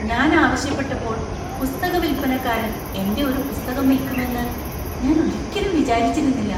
ഞാൻ ആവശ്യപ്പെട്ടപ്പോൾ പുസ്തക വിൽപ്പനക്കാരൻ എന്‍റെ ഒരു പുസ്തകം വിൽക്കുമെന്ന് ഞാൻ ഒരിക്കലും വിചാരിച്ചിരുന്നില്ല!